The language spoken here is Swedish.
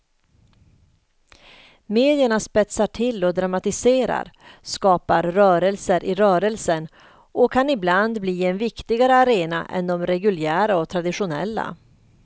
Medierna spetsar till och dramatiserar, skapar rörelser i rörelsen och kan ibland bli en viktigare arena än de reguljära och traditionella.